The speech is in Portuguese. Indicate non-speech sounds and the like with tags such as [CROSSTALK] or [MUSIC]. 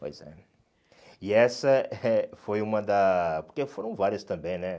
Pois é. E essa [LAUGHS] foi uma da... Porque foram várias também, né?